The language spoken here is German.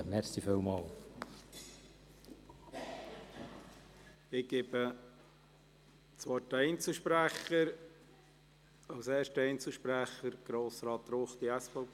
Ich gebe den Einzelsprechern das Wort; als erstem Einzelsprecher: Grossrat Ruchti, SVP.